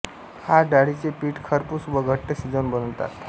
हा डाळीचे पीठ खरपूस व घट्ट शिजवून बनवतात